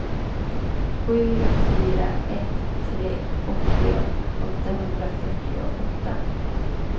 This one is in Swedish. sju fyra ett tre åttio åttahundrafyrtioåtta